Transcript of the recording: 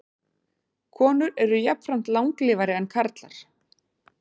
Konur eru jafnframt langlífari en karlar.